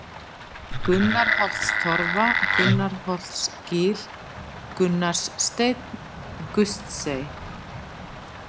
Gunnarholtstorfa, Gunnarsholtsgil, Gunnarssteinn, Gustsey